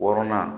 Wɔrɔnan